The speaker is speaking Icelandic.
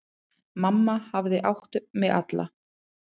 Mamma hafði átt mig alla.